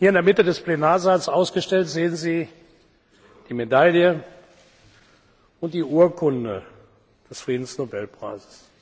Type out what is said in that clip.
Hier in der Mitte des Plenarsaals ausgestellt sehen Sie die Medaille und die Urkunde des Friedensnobelpreises.